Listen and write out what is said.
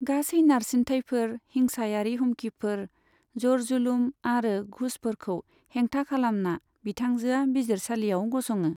गासै नारसिनथायफोर हिंसायारि हुमखिफोर, जरजुलुम आरो घुसफोरखौ हेंथा खालामना, बिथांजोआ बिजिरसालियाव गसङो।